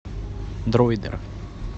дроидер